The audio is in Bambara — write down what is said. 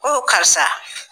Ko karisa